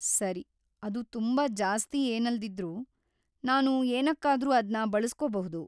ಸರಿ, ಅದು ತುಂಬಾ ಜಾಸ್ತಿ ಏನಲ್ದಿದ್ರೂ ನಾನು ಏನಕ್ಕಾದ್ರೂ ಅದ್ನ ಬಳಸ್ಕೊಬಹುದು.